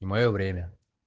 и моё время